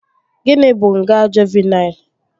Gịnị bụ nga Juuvenịl?